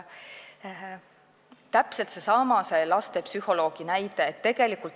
Täpselt seesama on selle lastepsühholoogi näitega.